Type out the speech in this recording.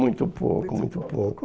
Muito pouco, muito pouco.